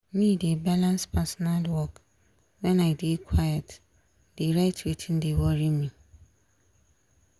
me de balans personal work wen i dey quite dey write wetin de worry me.